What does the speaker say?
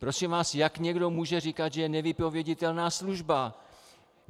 Prosím vás, jak někdo může říkat, že je nevypověditelná služba?